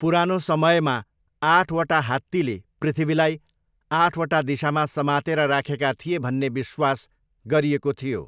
पुरानो समयमा आठवटा हात्तीले पृथ्वीलाई आठवटा दिशामा समातेर राखेका थिए भन्ने विश्वास गरिएको थियो।